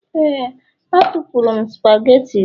Éè, atụpụrụ m spagetii gị